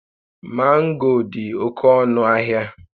Mango a dị oke ọnụ ahịa